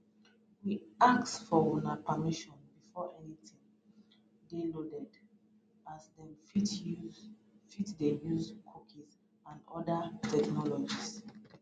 we ask for una permission before anytin dey loaded as dem fit dey use cookies and oda technologies